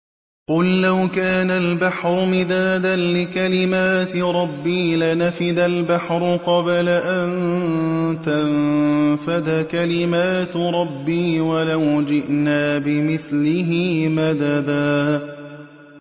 قُل لَّوْ كَانَ الْبَحْرُ مِدَادًا لِّكَلِمَاتِ رَبِّي لَنَفِدَ الْبَحْرُ قَبْلَ أَن تَنفَدَ كَلِمَاتُ رَبِّي وَلَوْ جِئْنَا بِمِثْلِهِ مَدَدًا